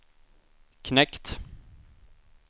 knekt